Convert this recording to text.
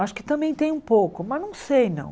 Acho que também tem um pouco, mas não sei, não.